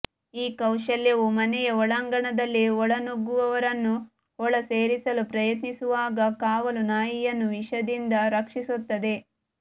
ಈ ಕೌಶಲ್ಯವು ಮನೆಯ ಒಳಾಂಗಣದಲ್ಲಿ ಒಳನುಗ್ಗುವವರನ್ನು ಒಳಸೇರಲು ಪ್ರಯತ್ನಿಸುವಾಗ ಕಾವಲು ನಾಯಿವನ್ನು ವಿಷದಿಂದ ರಕ್ಷಿಸುತ್ತದೆ